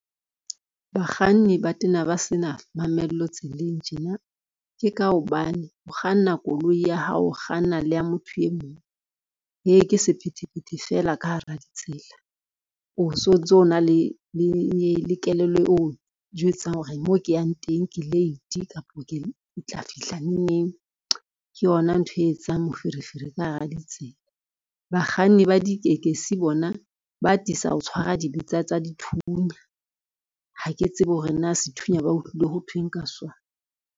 Bakganni ba tena ba sena mamello tseleng tjena, ke ka hobane o kganna koloi ya hao, o kganna le ya motho e mong. Heh ke sephethephethe fela ka hara ditsela, o so ntso na le kelello e o jwetsang hore mo ke yang teng ke late kapo ke tla fihla neng neng ke yona ntho e etsang moferefere ka hara ditsela. Bakganni ba ditekesi bona ba atisa ho tshwara dibetsa tsa dithunya, ha ke tsebe hore na sethunya ba utlwile ho thweng ka sona.